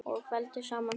Og felldu saman hugi.